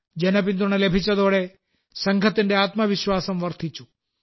ജനപിന്തുണ ലഭിച്ചതോടെ സംഘത്തിന്റെ ആത്മവിശ്വാസം വർധിച്ചു